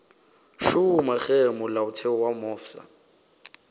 šoma ge molaotheo wo mofsa